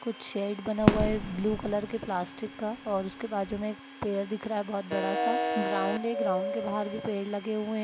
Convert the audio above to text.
कुछ शेड बना हुआ है ब्लू कलर के प्लास्टिक का और उसके बाजु में पेड़ दिख रहा है बहुत बड़ा सा। ग्राउंड है ग्राउंड के बाहर भी पेड़ लगे हुए हैं।